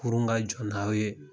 Kurun ka jɔ n'aw ye